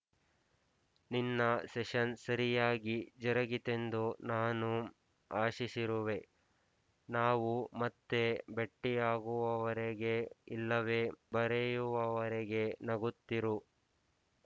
ನಿನ್ನ ಸೆಶನ್ ಸರಿಯಾಗಿ ಜರುಗಿತೆಂದು ನಾನು ಆಶಿಸಿರುವೆ ನಾವು ಮತ್ತೆ ಭೆಟ್ಟಿಯಾಗುವವರೆಗೆ ಇಲ್ಲವೆ ಬರೆಯುವವರೆಗೆ ನಗುತ್ತಿರು